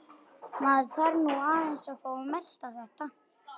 Maður þarf nú aðeins að fá að melta þetta.